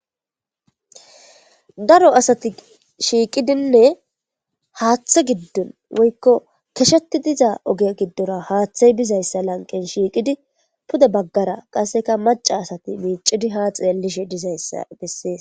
Daro asati shiqetidine haththa gidon woyko koshetidi kosheti diza oge gidora haththe bidaysa pude bagara maca sati ha xelidi micishe dizaysi betes